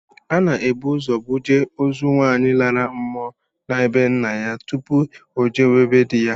Ana ebu ụzọ buje ozu nwaanyị lara mmụọ na be ńnà yá tụpụ ojewe be di ya.